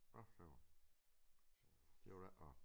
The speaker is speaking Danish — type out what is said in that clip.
Nåh for søren det var da ikke rart